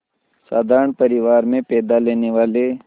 साधारण परिवार में पैदा लेने वाले